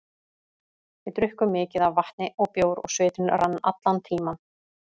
Við drukkum mikið af vatni og bjór og svitinn rann allan tímann.